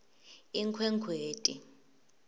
inkhwekhweti